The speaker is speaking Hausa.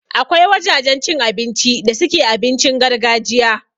Akwai wajajen cin abinci da suke abincin gargajiya